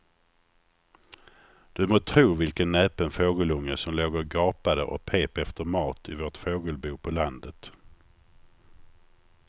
Du må tro vilken näpen fågelunge som låg och gapade och pep efter mat i vårt fågelbo på landet.